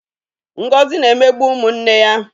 Ngozi na-emegbu ụmụ nne ya.